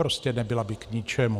Prostě by nebyla k ničemu.